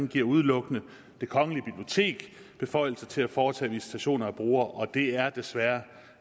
giver udelukkende det kongelige bibliotek beføjelser til at foretage visitationer af brugere og det er desværre